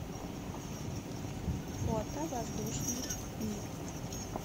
фото воздушный мир